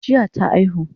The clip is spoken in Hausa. Jiya ta aihu